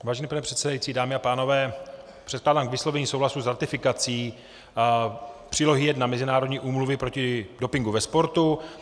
Vážený pane předsedající, dámy a pánové, předkládám k vyslovení souhlasu s ratifikací Přílohy I Mezinárodní úmluvy proti dopingu ve sportu.